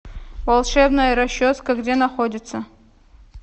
волшебная расческа где находится